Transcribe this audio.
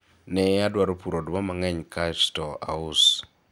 ne adwaro puro oduma mang'eny kasto aus